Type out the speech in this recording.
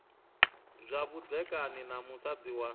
zwa vhudzekani na musadzi wa